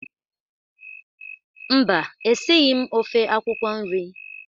Mba, esighi m ofe akwụkwọ nri.